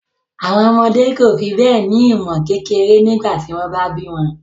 Àwọn ọmọdé kò fi bẹ́ẹ̀ ní ìmọ̀ kékeré nígbà tí wọ́n bá bí wọn